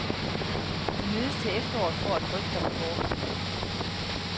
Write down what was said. De mødes til efteråret for at drøfte rapporten.